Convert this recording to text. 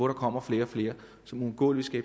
der kommer flere og flere som uundgåeligt vil